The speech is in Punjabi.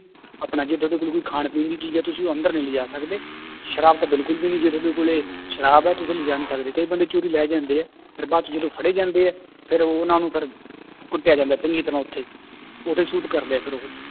ਆਪਣਾ ਜੇ ਤੁਹਾਡੇ ਕੋਲ ਕੋਈ ਖਾਣ ਪੀਣ ਦੀ ਚੀਜ਼ ਹੈ ਤੁਸੀਂ ਉਹ ਅੰਦਰ ਨੀ ਲਿਜਾ ਸਕਦੇ, ਸ਼ਰਾਬ ਤਾਂ ਬਿਲਕੁਲ ਵੀ ਨੀ, ਜੇ ਤੁਹਾਡੇ ਕੋਲੇ ਸ਼ਰਾਬ ਹੈ ਤੁਸੀਂ ਲਿਜਾ ਨੀ ਸਕਦੇ ਕਈ ਬੰਦੇ ਚੋਰੀ ਲੈ ਜਾਂਦੇ ਹੈ ਫਿਰ ਬਾਅਦ 'ਚ ਜਦੋਂ ਫੜੇ ਜਾਂਦੇ ਹੈ ਫਿਰ ਉਹਨਾਂ ਨੂੰ ਫਿਰ ਕੁੱਟਿਆ ਜਾਂਦਾ ਚੰਗੀ ਤਰ੍ਹਾਂ ਉੱਥੇ ਉੱਥੇ shoot ਕਰਦੇ ਆ ਫਿਰ ਉਹ।